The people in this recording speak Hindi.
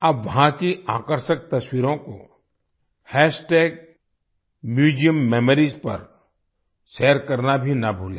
आप वहां की आकर्षक तस्वीरों को हैश्टैगम्यूजियम मेमोरीज पर शेयर करना भी ना भूलें